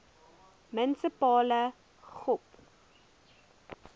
munisipale gop